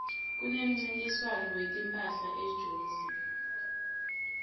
kunemncintiswano wetimphahla ejozi